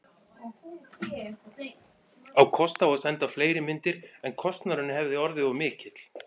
Á kost á að senda fleiri myndir, en kostnaðurinn hefði orðið of mikill.